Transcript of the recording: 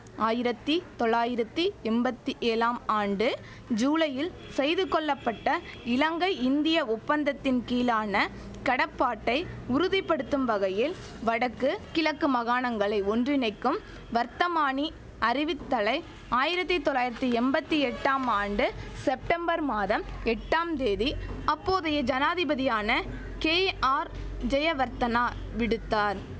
ஆயிரத்தி தொளாயிரத்தி எம்பத்தி ஏழாம் ஆண்டு ஜூலையில் செய்துகொள்ளப்பட்ட இலங்கை இந்திய ஒப்பந்தத்தின் கீழான கடப்பாட்டை உறுதி படுத்தும் வகையில் வடக்கு கிழக்கு மகாணங்களை ஒன்றிணைக்கும் வர்த்தமானி அறிவித்தலை ஆயிரத்தி தொளாயிரத்தி எம்பத்தி எட்டாம் ஆண்டு செப்டம்பர் மாதம் எட்டாம் தேதி அப்போதைய ஜனாதிபதியான கேஆர் ஜெயவர்த்தனா விடுத்தார்